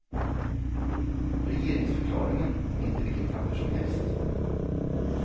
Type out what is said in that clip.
Regeringsförklaringen är inte vilket papper som helst.